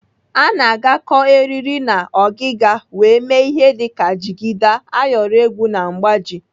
A na-agakọ eriri na ọgịga wee mee ihe dịka jigida, ayọrọ egwu na mgbaji.